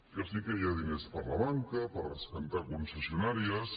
que sí que hi ha diners per a la banca per rescatar concessio nàries